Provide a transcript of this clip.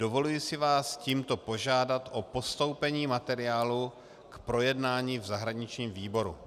Dovoluji si vás tímto požádat o postoupení materiálu k projednání v zahraničním výboru.